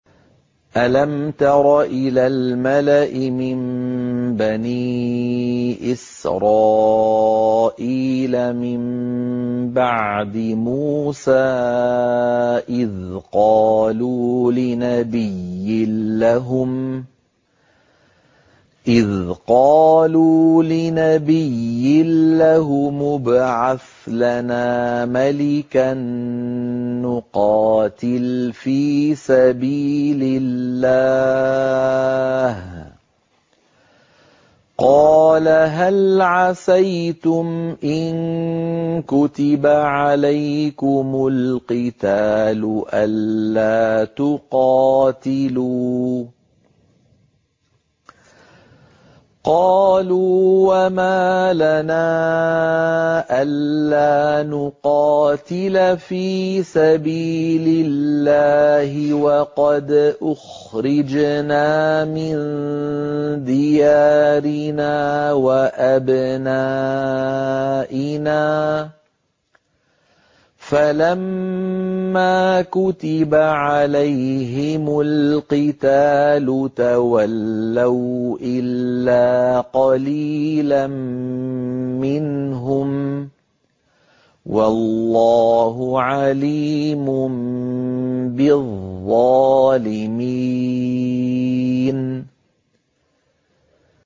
أَلَمْ تَرَ إِلَى الْمَلَإِ مِن بَنِي إِسْرَائِيلَ مِن بَعْدِ مُوسَىٰ إِذْ قَالُوا لِنَبِيٍّ لَّهُمُ ابْعَثْ لَنَا مَلِكًا نُّقَاتِلْ فِي سَبِيلِ اللَّهِ ۖ قَالَ هَلْ عَسَيْتُمْ إِن كُتِبَ عَلَيْكُمُ الْقِتَالُ أَلَّا تُقَاتِلُوا ۖ قَالُوا وَمَا لَنَا أَلَّا نُقَاتِلَ فِي سَبِيلِ اللَّهِ وَقَدْ أُخْرِجْنَا مِن دِيَارِنَا وَأَبْنَائِنَا ۖ فَلَمَّا كُتِبَ عَلَيْهِمُ الْقِتَالُ تَوَلَّوْا إِلَّا قَلِيلًا مِّنْهُمْ ۗ وَاللَّهُ عَلِيمٌ بِالظَّالِمِينَ